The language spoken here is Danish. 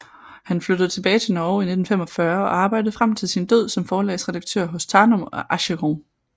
Han flyttede tilbage til Norge i 1945 og arbejdede frem til sin død som forlagsredaktør hos Tanum og Aschehoug